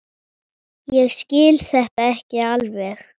Ég skil þetta ekki alveg.